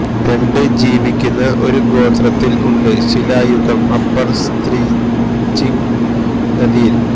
രണ്ട് ജീവിക്കുന്ന ഒരു ഗോത്രത്തിൽ ഉണ്ട് ശിലായുഗം അപ്പർ സ്ത്രിച്ക്ലംദ് നദിയിൽ